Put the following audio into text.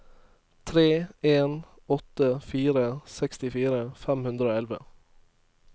tre en åtte fire sekstifire fem hundre og elleve